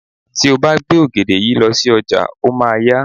Tí o bá gbé ògèdè yìí lọ sí ọjà, o máa a yá.